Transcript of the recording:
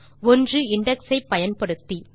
ஒன்று இண்டெக்ஸ் ஐ பயன்படுத்தி